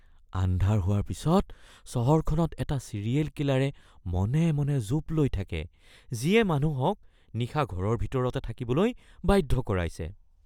আন্ধাৰ হোৱাৰ পিছত চহৰখনত এটা ছিৰিয়েল কিলাৰে মনে মনে জোপ লৈ থাকে যিয়ে মানুহক নিশা ঘৰৰ ভিতৰতে থাকিবলৈ বাধ্য কৰাইছে